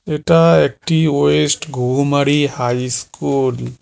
এটা একটি west Ghughumari high school.